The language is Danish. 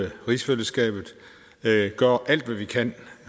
rigsfællesskabet gør alt hvad vi kan